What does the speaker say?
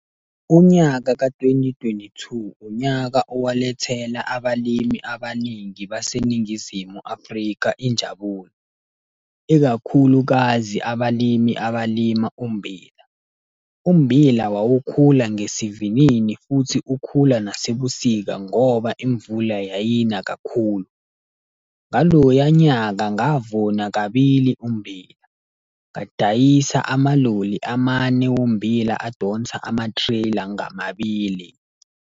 Unyaka ka-twenty, twenty-two, unyaka owalethela abalimi abaningi baseNingizimu Afrika injabulo, ikakhulukazi abalimi abalima ummbila. Ummbila wawukhula ngesivinini futhi ukhula nasebusika ngoba imvula yayina kakhulu. Ngaloya nyaka ngavuna kabili ummbila, ngadayisa amaloli amane ommbila adonsa ama-trailer ngamabili.